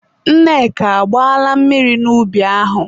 Nneka, agbaala mmiri n'ubi ahụ?